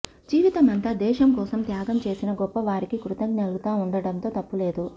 జీవితమంతా దేశం కోసం త్యాగం చేసిన గొప్పవారికి కృతజ్ఞులుగా ఉండడంలో తప్పులేదు